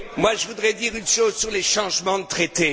Je voudrais dire une chose sur les changements de traité.